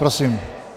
Prosím.